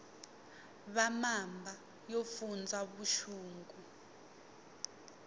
va mamba yo fundza vuxungu